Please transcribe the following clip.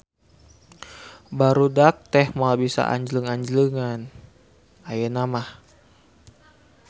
Barudak teh moal bisa anjleng-ajlengan ayeuna mah